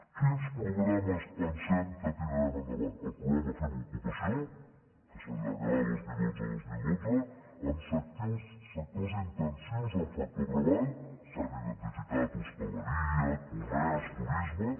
quins programes pensem que tirarem endavant el programa fem ocupació que s’allargarà a vint milions cent i dotze mil dotze amb sectors intensius en factor treball s’han identificat hostaleria comerç turisme